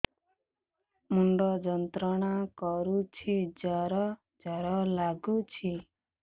ମୁଣ୍ଡ ଯନ୍ତ୍ରଣା କରୁଛି ଜର ଜର ଲାଗୁଛି